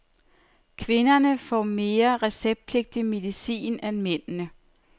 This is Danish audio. Kvinderne får mere receptpligtig medicin end mændene.